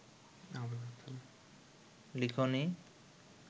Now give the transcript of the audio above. লিখনী